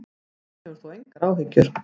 Hann hefur þó engar áhyggjur.